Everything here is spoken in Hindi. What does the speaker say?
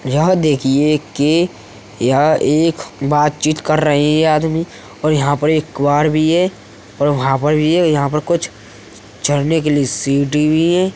यह देखिए कि यहाँ एक बातचीत कर रहे यह आदमी और यहाँ पर एक कुहार भी है और वहाँ पर भी है। यहाँ पर कुछ चढ़ने के लिए सीढ़ी भी हैं।